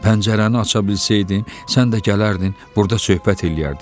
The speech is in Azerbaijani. Pəncərəni aça bilsəydim, sən də gələrdin, burda söhbət eləyərdik.